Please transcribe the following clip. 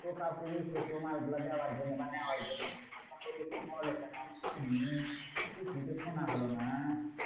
তো কাউকে রেখেছো মালগুলো দেওয়ার জন্যে বা নেওয়ার জন্যে? বোলো কেন আমি শুনি। কিছুই তো শোনা হলো না।